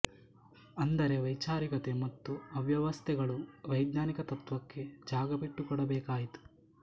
ಅಂದರೆ ಅವೈಚಾರಿಕತೆ ಮತ್ತು ಅವ್ಯವಸ್ಥೆಗಳು ವೈಜ್ಞಾನಿಕ ತತ್ವಕ್ಕೆ ಜಾಗಬಿಟ್ಟು ಕೊಡಬೇಕಾಯಿತು